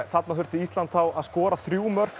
þarna þurfti Ísland að skoða þrjú mörk